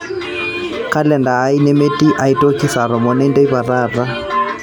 kalenda aai nemetii aitoki saa tomon enteipa taata